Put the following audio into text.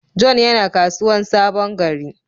John yana kasuwan Sabon-gari.